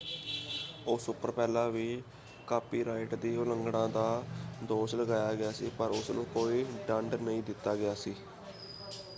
ਉਸ ਉੱਪਰ ਪਹਿਲਾਂ ਵੀ ਕਾਪੀਰਾਈਟ ਦੀ ਉਲੰਘਣਾ ਦਾ ਦੋਸ਼ ਲਗਾਇਆ ਗਿਆ ਸੀ ਪਰ ਉਸਨੂੰ ਕੋਈ ਦੰਡ ਨਹੀਂ ਦਿੱਤਾ ਗਿਆ ਸੀ।